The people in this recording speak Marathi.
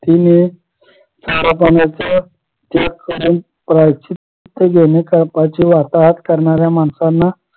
तिने खऱ्या पाण्याची त्याग करायची प्रायचित्त घेणे कळपाची वार्ताहर करणाऱ्या माणसाना